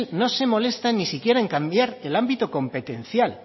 no se molestan ni siquiera en cambiar el ámbito competencial